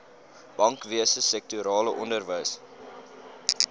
bankwese sektorale onderwys